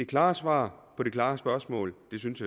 klart svar på et klart spørgsmål jeg synes